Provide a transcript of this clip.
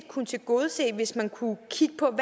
kunne tilgodese hvis man kunne kigge på